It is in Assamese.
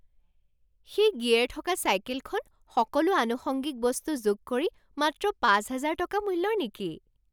সেই গিয়েৰ থকা চাইকেলখন সকলো আনুষঙ্গিক বস্তু যোগ কৰি মাত্ৰ পাঁচ হাজাৰ টকা মূল্যৰ নেকি?